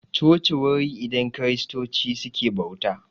Coci wuri idan kiristoci suke bauta